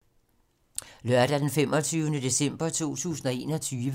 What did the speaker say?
Lørdag d. 25. december 2021